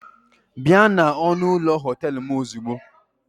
Bịa na ọnụ ụlọ họtel m ozugbo!